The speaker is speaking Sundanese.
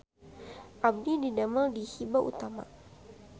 Abdi didamel di Hiba Utama